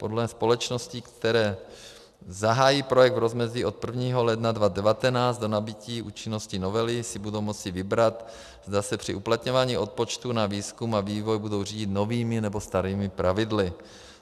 Podle společností, které zahájí projekt v rozmezí od 1. ledna 2019 do nabytí účinnosti novely, si budou moci vybrat, zda se při uplatňování odpočtu na výzkum a vývoj budou řídit novými, nebo starými pravidly.